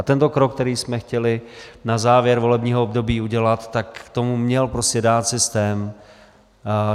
A tento krok, který jsme chtěli na závěr volebního období udělat, k tomu měl prostě dát systém.